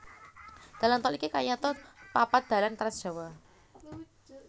Dalan tol iki kayata papat dalan trans Jawa